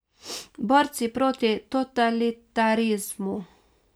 Borci proti totalitarizmu.